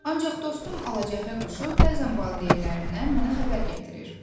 Ancaq dostum Alacəhrə quşu bəzən valideynlərimdən mənə xəbər gətirir.